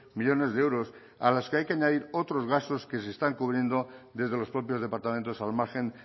millónes de euros a los que hay que añadir otros gastos que se están cubriendo desde los propios departamentos al margen